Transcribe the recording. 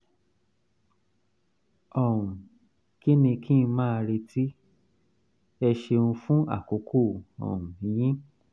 um kí ni kí n máa retí? ẹ ṣeun fún àkókò um yín